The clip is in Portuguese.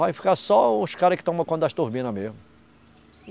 Vai ficar só os cara que toma conta das turbina mesmo.